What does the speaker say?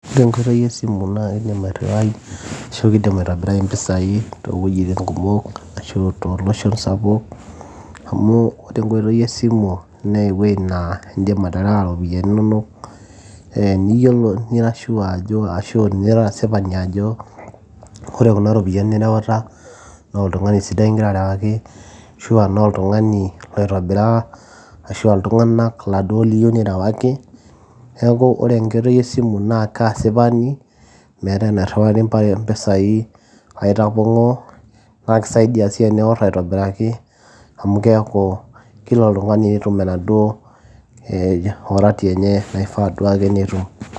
ore enkoitoi esimu naa kidim airriwai ashu kidim aitobirai mpisai towuejitin kumok ashu tolosho sapuk amu ore enkoitoi esimu naa ewueji naa indim aterewa iropiyiani inonok ee niyiolo nira sure ajo ashu nira asipani ajo ore kuna ropiani nireuta naa oltung'ani sidai ingira arewaki ashua noltung'ani loitibiraa ashua iltung'anak laduo liyieu nirewaki neeku ore enkoitoi esimu naa kaasipani meeta enairriwari mpisai aitapong'oo naa kisaidia sii teniworr aitobiraki amu keeku kila oltung'ani netum enaduo eh worati enye naifaa duo ake netum.